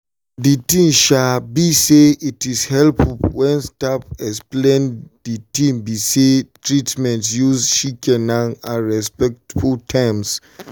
de tin be say it's helpful wen staff explain de tin be say treatments use shikena and respectful terms